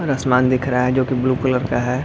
और आसमान दिख रहा है जो की ब्लू कलर का है।